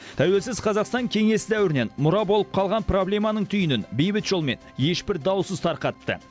тәуелсіз қазақстан кеңес дәуірінен мұра болып қалған проблеманың түйінін бейбіт жолмен ешбір даусыз тарқатты